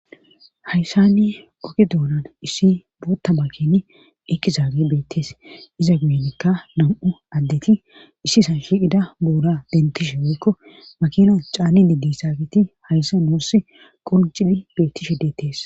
hayssanni oke doonan issi bootta makini iqqi zaage beettees iza guyenikka nam7u addeti issi san shiqida booda dentishe woykko makina caanni di di saagiti hayssa nuuss qolciphi beettishe deettees